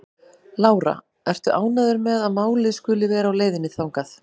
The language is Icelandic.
Lára: Ertu ánægður með að málið skuli vera á leið þangað?